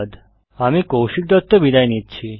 আমি কৌশিক দত্ত বিদায় নিচ্ছি